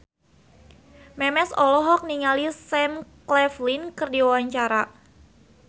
Memes olohok ningali Sam Claflin keur diwawancara